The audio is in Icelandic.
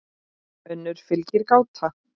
önnur fylgir gáta